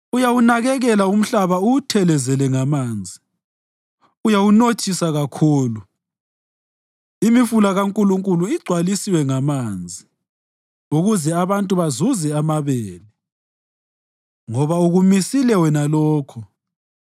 Uyawunakekela umhlaba uwuthelezele ngamanzi; uyawunothisa kakhulu. Imifula kaNkulunkulu igcwalisiwe ngamanzi ukuze abantu bazuze amabele, ngoba ukumisile wena lokho.